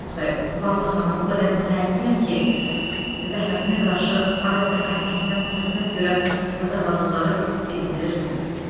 Oqtay, Vallah xanım o qədər mütəəssirəm ki, zəhmətinə qarşı adətən hər kəsdən töhmət görən zavallıları siz sevindirirsiniz.